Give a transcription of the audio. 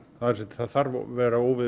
það þarf að vera